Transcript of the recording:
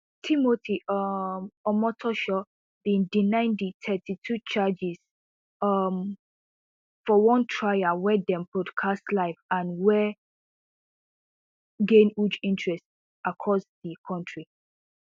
timothy um omotoso bin deny di thirty-two charges um for one trial wey dem broadcast live and wey gain huge interest across di kontri